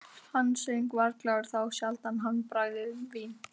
Hann söng og var glaður, þá sjaldan hann bragðaði vín.